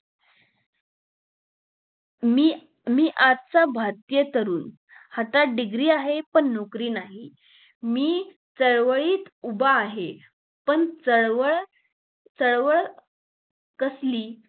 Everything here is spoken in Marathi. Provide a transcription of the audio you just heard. मी मी आजचा भारतीय तरुण हातात degree आहे पण नौकरी नाहि मी चळवळीत उभा आहे पण चळवळ चळवळ कसली